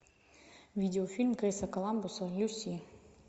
видеофильм криса коламбуса люси